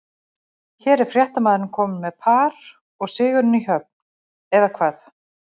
Hér er fréttamaður kominn með par og sigurinn í höfn, eða hvað?